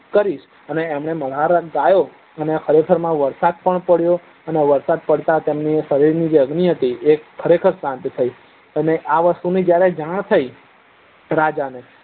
કરીશ અને એમને મલ્હાર રાગ ગયો અને ખરે ખર માં વરસાદપણ પડ્યો અને વરસાદ પડતા તેમના શરીર ની અગની હતી તે ખરે ખર શાંતિ થઇ તમે આ વસ્તુ ની જાણ થઇ રાજા ને